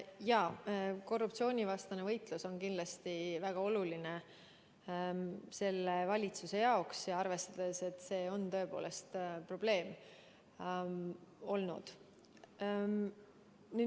Jaa, korruptsioonivastane võitlus on selle valitsuse jaoks kindlasti väga oluline, arvestades ka seda, et see on tõepoolest probleem olnud.